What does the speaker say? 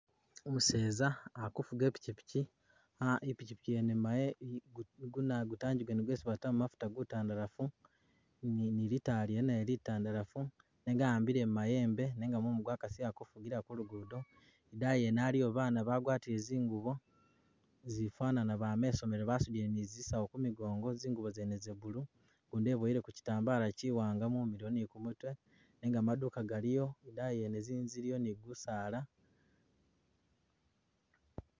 Umuseza ali kufuuga ipikipiki aa ipikipiki yene mu mayembe gutangi gwene gwesi batamo mafuuta gutandalafu ni litaala lyene naye litandalafu nenga ahambile mu mayembe nenga mumu gwakasile ali kufugila kulugudo idayi yene aliyo baana bagwatile zingubo zifanana bama isomelo basudile ni zisawu ku migongo zingubo zene ze'blue gundi eboyeleko kyitambala kyiwanga mumilo ni kumutwe nenga maduuka galiyo idayi yene zinzu ziliyo ni busaala.